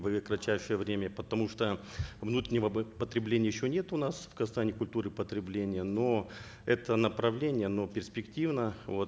в кратчайшее время потому что внутреннего потребления еще нет у нас в казахстане культуры потребления но это направление оно перспективно вот